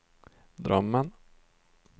drömmen